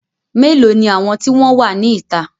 Melo ni àwọn tí wọn wá ní ìta?